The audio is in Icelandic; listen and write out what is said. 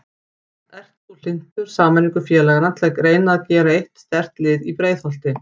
Ert þú hlynntur sameiningu félagana til að reyna að gera eitt sterkt lið í Breiðholti?